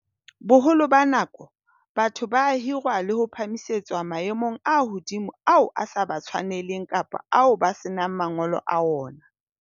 Boholo ba nako, batho ba hirwa le ho phahamisetswa maemong a hodimo ao a sa ba tshwaneleng kapa ao ba senang mangolo a ona.